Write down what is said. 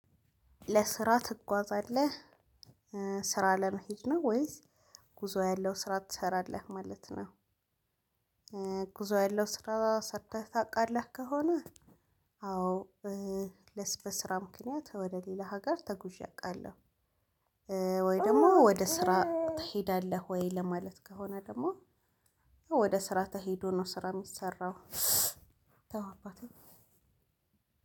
ለስራ ትጓዛለህ ስራ ለመሄድ ነው ወይስ ጉዞ ያለው ስራ ትሰራለህ ማለት ነው? ጉዞ ያለው ስራ ሰጥተህ ታውቃለህ ከሆነ? አዎ በስራ ምክንያት ወደ ሌላ ሀገር ተጉዤ አውቃለሁ። ወይ ደግሞ ወደ ስራ ትሄዳለህ ወይ ለማለት ከሆነ? ደግሞ ወደ ስራ ተሄዶ ነው ስራ የሚሰራው። ተው አባቴ